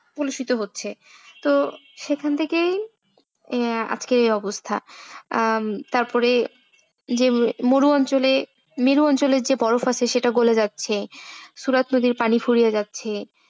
কুলুষিত হচ্ছে তো সেখান থেকেই আজকের এই অবস্থা আহ তারপরে মরু অঞ্চলে মেরু অঞ্চলের যে বরফ আছে সেটা গলে যাচ্ছে সূরা তৈরীর পানি ফুরিয়ে যাচ্ছে।